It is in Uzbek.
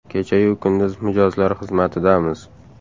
Kecha-yu kunduz mijozlar xizmatidamiz!.